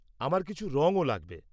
আমার কিছু রঙও লাগবে।